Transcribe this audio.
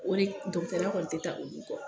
Olu dɔgɔtɔrɔya kɔni tɛ taa olu kɔ.